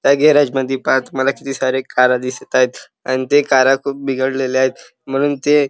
त्या गॅरेज मध्ये पहा तुम्हाला किती साऱ्या कारा दिसत आहेत अन त्या कारा खूप बिघडलेल्या आहेत म्हणून ते--